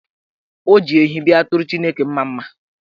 O ji ehi bịa tụọrọ Chineke mmamma.